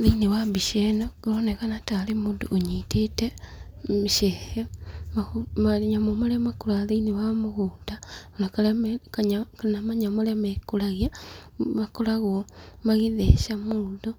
Thĩ-inĩ wa mbĩca ĩ no kũronekana tarĩ mũndũ ũnyĩtete mĩcege, manyamũ marĩa makũraga thĩ-inĩ wa mũgũnda kana manyamũ marĩa mekũragĩa makoragwo magĩtheca mũndũ